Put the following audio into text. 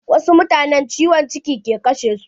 Wasu mutanen ciwon ciki ke kashe su.